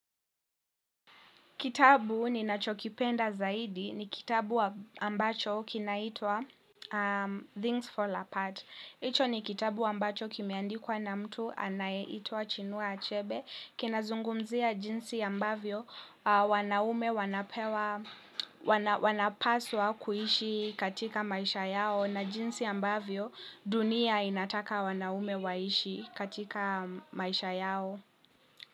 Kitabu ninachokipenda zaidi ni kitabu ambacho kinaitwa Things Fall Apart. Hicho ni kitabu ambacho kimeandikwa na mtu anayeitwa Chinua Achebe. Kinazungumzia jinsi ambavyo wanaume wanapaswa kuishi katika maisha yao na jinsi ambavyo dunia inataka wanaume waishi katika maisha yao.